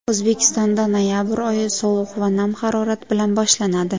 O‘zbekistonda noyabr oyi sovuq va nam harorat bilan boshlanadi.